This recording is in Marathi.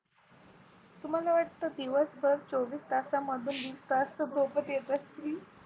तू मला वाटतं दिवसभर चोवीस तासां मधून विस तास झोपच घेत असती.